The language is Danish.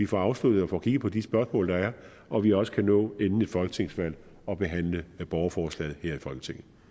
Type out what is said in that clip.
får afsluttet og får kigget på de spørgsmål der er og at vi også kan nå inden et folketingsvalg at behandle borgerforslaget her i folketinget